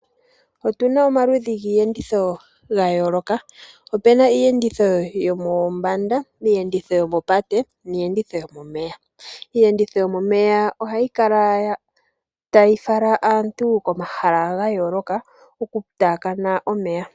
Otuna omaludhi giiyenditho ga yooloka, opuna iiyenditho yomombanda, iiyenditho yomopate niiyenditho yomomeya. Iiyenditho yomomeya ohayi kala tayi fala aantu komahala ga yooloka oku taakana omeya.